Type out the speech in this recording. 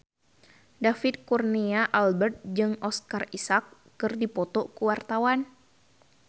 David Kurnia Albert jeung Oscar Isaac keur dipoto ku wartawan